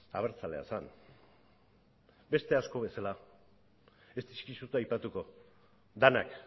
abertzalea zen beste asko bezala ez dizkizut aipatuko denak